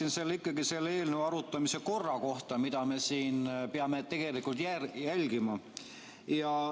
Ma tulen ikkagi selle eelnõu arutamise korra juurde, mida me tegelikult peame siin järgima.